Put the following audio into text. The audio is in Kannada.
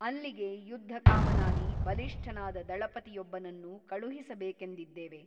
ಅಲ್ಲಿಗೆ ಯುದ್ಧಕಾಮನಾಗಿ ಬಲಿಷ್ಠನಾದ ದಳಪತಿಯೊಬ್ಬನನ್ನು ಕಳುಹಿಸಬೇಕೆಂದಿದ್ದೇವೆ.